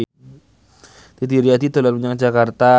Didi Riyadi dolan menyang Jakarta